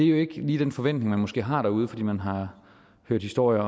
jo ikke lige den forventning man måske har derude fordi man har hørt historier